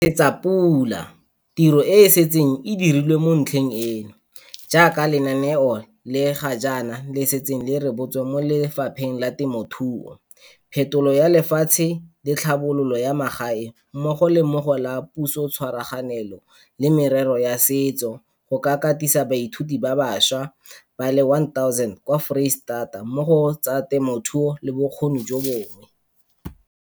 Re nesetsa pula tiro e e setseng e dirilwe mo ntlheng eno, jaaka lenaneo le ga jaana le setse le rebotswe mo Lefapheng la Temothuo, Phetolo ya Lefatshe le Tlhabololo ya Magae mmogo le mo go la Pusotshwaraganelo le Merero ya Setso go ka katisa baithuti ba bašwa ba le 1 000 kwa Foreisetata mo go tsa temothuo le bokgoni jo bongwe.